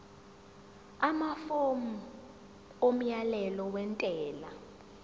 amafomu omyalelo wentela